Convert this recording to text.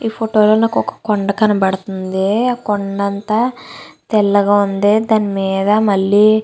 ఈ ఫోటో లో నాకు ఒక కొండ కనబడుతుంది ఆ కొండ అంతా తెల్లగా ఉంది దాని మీద మళ్ళీ --